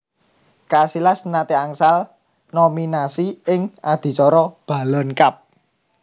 Casillas nate angsal nominasi ing adicara Ballon Cup